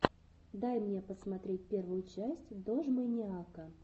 дай мне посмотреть первую часть дожмэниака